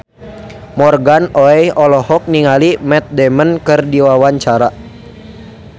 Morgan Oey olohok ningali Matt Damon keur diwawancara